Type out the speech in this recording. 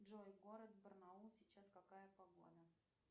джой город барнаул сейчас какая погода